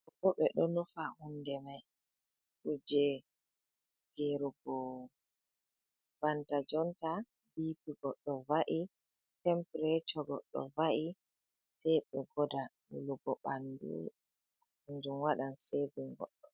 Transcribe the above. Dobo ɓe ɗo nufa hunde mai kuje gerugo banta jonta bipigo goɗɗo va’i tempreco goɗɗo va’i sai ɓe goda wulugo ɓandu kanjum waɗan sevin goɗɗo.